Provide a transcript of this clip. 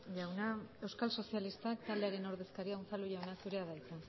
jauna euskal sozialistak taldearen ordezkaria unzalu jauna zurea da hitza